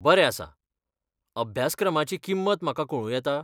बरें आसा! अभ्यासक्रमाची किंमत म्हाका कळूं येता?